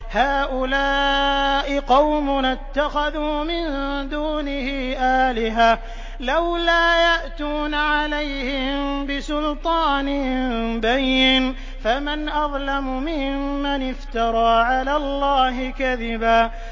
هَٰؤُلَاءِ قَوْمُنَا اتَّخَذُوا مِن دُونِهِ آلِهَةً ۖ لَّوْلَا يَأْتُونَ عَلَيْهِم بِسُلْطَانٍ بَيِّنٍ ۖ فَمَنْ أَظْلَمُ مِمَّنِ افْتَرَىٰ عَلَى اللَّهِ كَذِبًا